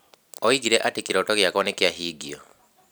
Oigire atĩ kĩroto gĩakwa nĩ kĩahingio.